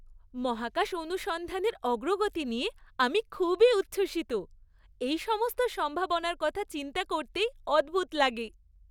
মহাকাশ অনুসন্ধানের অগ্রগতি নিয়ে আমি খুবই উচ্ছ্বসিত! এই সমস্ত সম্ভাবনার কথা চিন্তা করতেই অদ্ভুত লাগে।